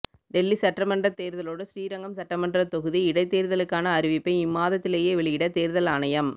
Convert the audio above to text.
டெல்லி சட்டமன்றத் தேர்தலோடு ஸ்ரீரங்கம் சட்டமன்றத் தொகுதி இடைத்தேர்தலுக்கான அறிவிப்பை இம்மாதத்திலேயே வெளியிட தேர்தல் ஆணையம்